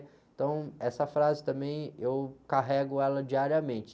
Então essa frase também eu carrego ela diariamente.